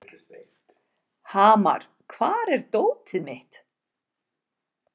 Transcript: Hamar, hvar er dótið mitt?